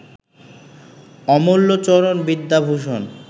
Amulyacharan Vidyabhushan